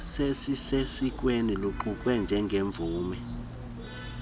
sesikweni luqukwe njengemvume